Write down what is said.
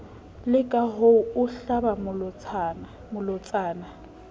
leka ho o hlaba malotsana